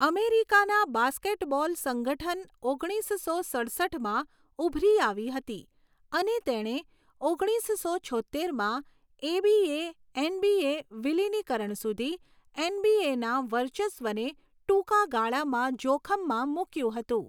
અમેરિકાના બાસ્કેટબોલ સંગઠન ઓગણીસસો સડસઠમાં ઉભરી આવી હતી અને તેણે ઓગણીસસો છોત્તેમાં એબીએ એનબીએ વિલિનીકરણ સુધી એનબીએ ના વર્ચસ્વને ટૂંકા ગાળામાં જોખમમાં મુક્યું હતું